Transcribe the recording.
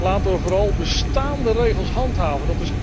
Laten we vooral bestaande regels handhaven.